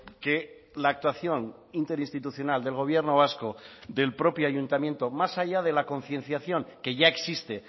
que la actuación interinstitucional del gobierno vasco del propio ayuntamiento más allá de la concienciación que ya existe